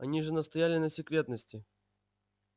они же настояли на секретности